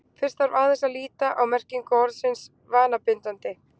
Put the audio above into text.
Fyrst þarf aðeins að líta á merkingu orðsins vanabindandi.